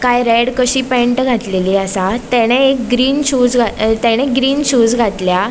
काय रेड कशी पॅन्ट घातलेली आसा तेणे एक ग्रीन शूज ग्रीन शूज घातल्या.